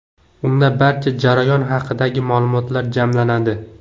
Unda barcha jarayon haqidagi ma’lumotlar jamlanadi.